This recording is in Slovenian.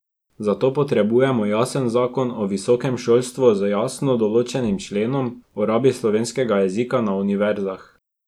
Zato potrebujemo jasen zakon o visokem šolstvu z jasno določenim členom o rabi slovenskega jezika na univerzah.